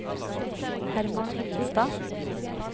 Herman Hillestad